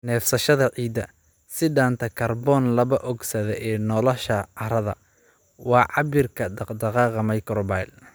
Neefsashada ciidda, sii daynta kaarboon laba ogsaydh ee noolaha carrada, waa cabbirka dhaqdhaqaaqa microbial.